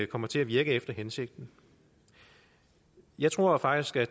kommer til at virke efter hensigten jeg tror faktisk at